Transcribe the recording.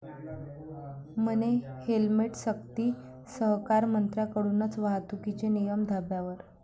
म्हणे हेल्मेटसक्ती!, सहकारमंत्र्यांकडूनच वाहतुकीचे नियम धाब्यावर